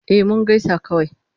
Eh mu gaisa kawai.